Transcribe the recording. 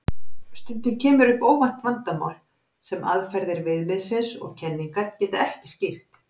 Stundum kemur upp óvænt vandamál sem aðferðir viðmiðsins og kenningar geta ekki skýrt.